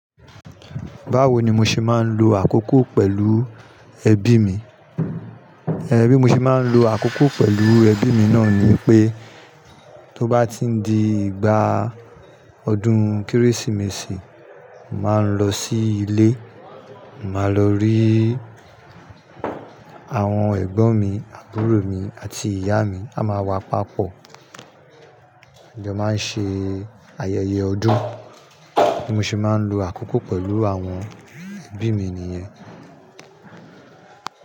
Báwo ni mo ṣe máa ń lo àkókò pẹ̀lú ẹbí mi? Ẹ bi mo ṣe máa ń lo àkókò pẹ̀lú ẹbí mi náà ni pé, tó bá ti ń di ìgbà ọdún Kérésìmesì, màá ń lọ sí ilé, màá lọ rí àwọn ẹ̀gbọ́n mi, àbúrò mi àti ìyá mi. A máa wá papọ̀, a jọ máa ń ṣe ayẹyẹ ọdún, bí mo ṣe máa ń lo àkókò pẹ̀lú àwọn ẹbí mi nìyẹn.